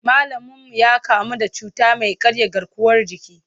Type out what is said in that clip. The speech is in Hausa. Malaminmu ya kamu da cuta mai karya garkuwar jiki.